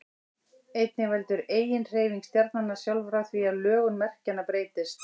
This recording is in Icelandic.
einnig veldur eiginhreyfing stjarnanna sjálfra því að lögun merkjanna breytist